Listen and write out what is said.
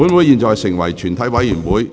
現在成為全體委員會。